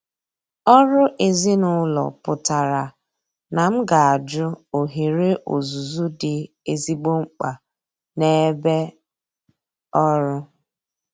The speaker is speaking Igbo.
Ọrụ ezinụlọ pụtara na m ga-ajụ ohere ọzụzụ dị ezigbo mkpa n'ebe ọrụ.